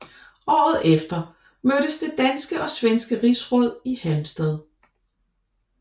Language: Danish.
Året efter mødtes det danske og svenske rigsråd i Halmstad